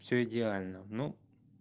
всё идеально ну